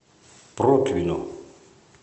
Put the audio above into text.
протвино